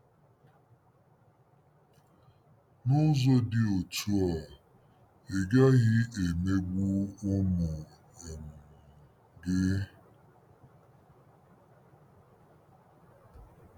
N'ụzọ dị otú a, ị gaghị emegbu ụmụ um gị.